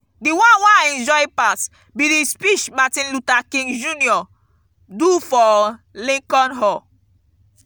the one wey i enjoy pass be the speech martin luther king jr. do for lincoln hall.